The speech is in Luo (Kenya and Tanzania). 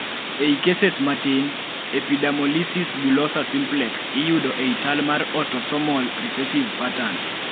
ei cases matin, epidermolysis bullosa simplex iyudo ei chal mar autosomal recessive pattern